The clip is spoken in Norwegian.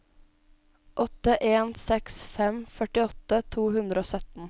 åtte en seks fem førtiåtte to hundre og sytten